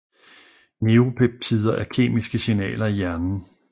Neuropeptider er kemiske signaler i hjernen